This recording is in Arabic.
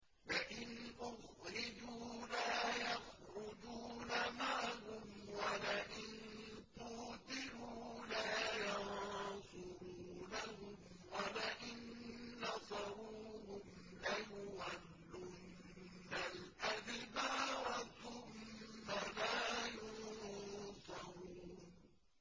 لَئِنْ أُخْرِجُوا لَا يَخْرُجُونَ مَعَهُمْ وَلَئِن قُوتِلُوا لَا يَنصُرُونَهُمْ وَلَئِن نَّصَرُوهُمْ لَيُوَلُّنَّ الْأَدْبَارَ ثُمَّ لَا يُنصَرُونَ